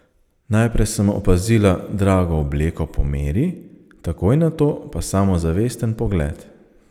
Najprej sem opazila drago obleko po meri, takoj nato pa samozavesten pogled.